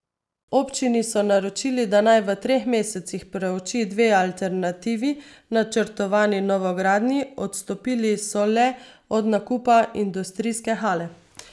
Občini so naročili, da naj v treh mesecih preuči dve alternativi načrtovani novogradnji, odstopili so le od nakupa industrijske hale.